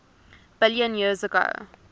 billion years ago